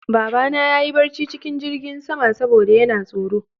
Babana ya yi barci cikin jingin sama saboda yana tsoro